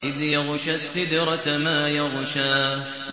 إِذْ يَغْشَى السِّدْرَةَ مَا يَغْشَىٰ